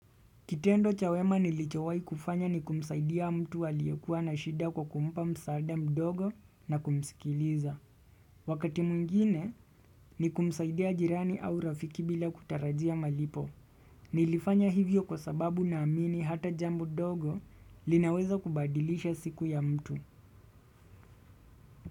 Kitendo cha wema nilichowahi kufanya ni kumsaidia mtu aliyekuwa na shida kwa kumpa msaada mdogo na kumsikiliza. Wakati mwingine ni kumsaidia jirani au rafiki bila kutarajia malipo. Nilifanya hivyo kwa sababu na amini hata jambo dogo linaweza kubadilisha siku ya mtu.